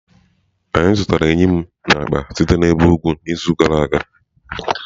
Anyị zụtara eyịm na akpa si n'ebe ugwu izu gara aga.